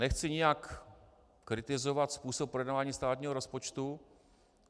Nechci nijak kritizovat způsob projednávání státního rozpočtu.